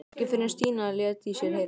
Ekki fyrr en Stína lét í sér heyra.